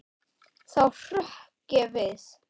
Þá hrökk ég við.